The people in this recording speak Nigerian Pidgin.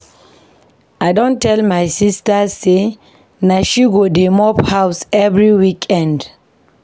I don tell my sista sey na she go dey mop house every weekend.